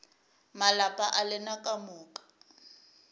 malapa a lena ka moka